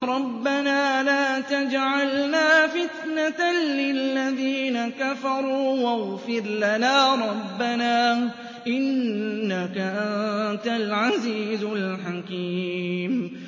رَبَّنَا لَا تَجْعَلْنَا فِتْنَةً لِّلَّذِينَ كَفَرُوا وَاغْفِرْ لَنَا رَبَّنَا ۖ إِنَّكَ أَنتَ الْعَزِيزُ الْحَكِيمُ